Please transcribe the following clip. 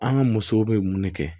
An ka musow be mun de kɛ